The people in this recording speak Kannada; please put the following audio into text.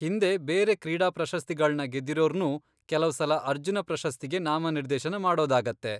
ಹಿಂದೆ ಬೇರೆ ಕ್ರೀಡಾ ಪ್ರಶಸ್ತಿಗಳ್ನ ಗೆದ್ದಿರೋರ್ನೂ ಕೆಲವ್ಸಲ ಅರ್ಜುನ ಪ್ರಶಸ್ತಿಗೆ ನಾಮನಿರ್ದೇಶನ ಮಾಡೋದಾಗತ್ತೆ.